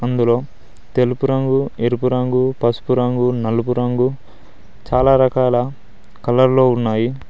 అందులో తెలుపు రంగు ఎరుపు రంగు పసుపు రంగు నలుపు రంగు చాలా రకాల కలర్లు ఉన్నాయి.